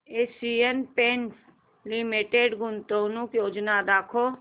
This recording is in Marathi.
एशियन पेंट्स लिमिटेड गुंतवणूक योजना दाखव